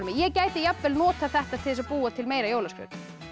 ég gæti jafnvel notað þetta til þess að búa til meira jólaskraut